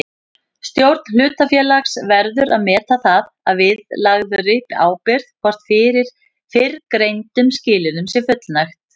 Stjórn hlutafélags verður að meta það að viðlagðri ábyrgð hvort fyrrgreindum skilyrðum sé fullnægt.